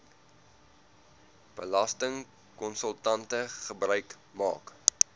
belastingkonsultante gebruik maak